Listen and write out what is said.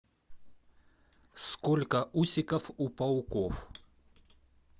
сколько усиков у пауков